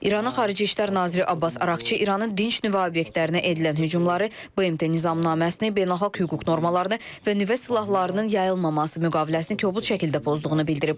İranın Xarici İşlər Naziri Abbas Arakçı İranın dinc nüvə obyektlərinə edilən hücumları BMT Nizamnaməsini, beynəlxalq hüquq normalarını və nüvə silahlarının yayılmaması müqaviləsini kobud şəkildə pozduğunu bildirib.